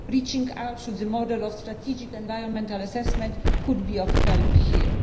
Reaching out through the model of strategic environmental assessment could be of help here.